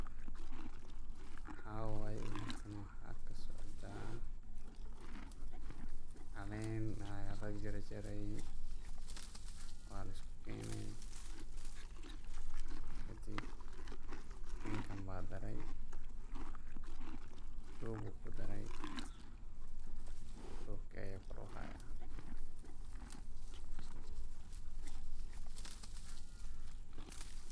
Maxaa waye halkan, waxaa kasocda calen aya la jar jare, waa lisku kene, kadiib ninkan ba daray dub u kudaray, dubka aya kor u haya.